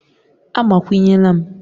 Agbakwunyela m!